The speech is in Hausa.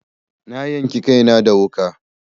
Na yanki kaina da wuƙa.